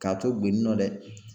K'a to gwen nɔ dɛ